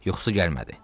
Yuxusu gəlmədi.